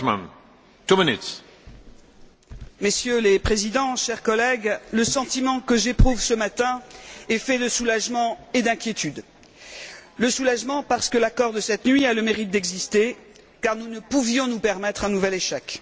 Monsieur le Président, Messieurs les Présidents, chers collègues, le sentiment que j'éprouve ce matin est fait de soulagement et d'inquiétude. Le soulagement, parce que l'accord de cette nuit a le mérite d'exister car nous ne pouvions nous permettre un nouvel échec.